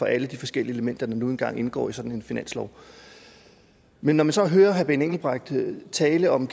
alle de forskellige elementer der nu engang indgår i sådan en finanslov men når man så hører herre benny engelbrecht tale om